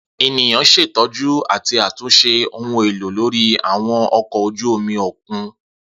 Eniyan ṣetọju ati atunṣe ohun elo lori àwọn ọkọ oju omi okun.